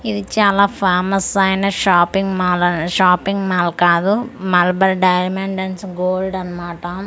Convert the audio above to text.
ఇది చాలా ఫేమస్ అయిన షాపింగ్ మాల్ షాపింగ్ మాల్ కాదు మలబార్ డైమండ్స్ అండ్స్ గోల్డ్ అన్నమాట ఇక--